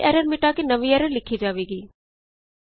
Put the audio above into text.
ਤਾਂ ਪਿਛਲੀ ਐਰਰ ਮਿਟਾ ਕੇ ਨਵੀਂ ਐਰਰ ਲਿਖੀ ਜਾਵੇਗੀ